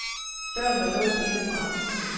Døren var låst inde fra.